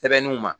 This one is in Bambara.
Sɛbɛnniw ma